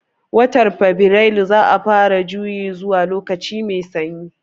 Watan fabirailu za'a fara juyi zuwa lokaci mai sanyi